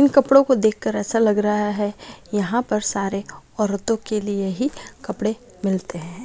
In कपड़ों को देखकर ऐसे लग रहा है यहां पर सारे औरतों के लिए ही कपड़े मिलते हैं।